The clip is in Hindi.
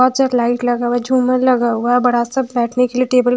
बहुत सा लाईट लगा हुआ है झूमर लगा हुआ है और बड़ा सा बैठने के लिए टेबल --